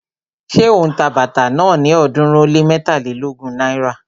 Ṣé ó ń ta bàtà náà ní ọ̀ọ́dúnrún ó lé mẹ́tàlélógún náírà?